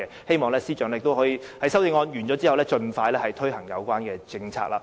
希望司長在修正案審議完畢後，盡快推行有關政策。